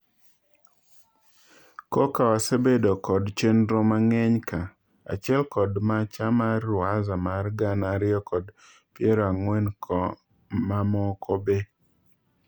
"Koka wasebedo kod chendro mang'eny ,ka achiel kod macha mar ruwaza mar gana ariyo kod piero ang'wen ko mamoko be.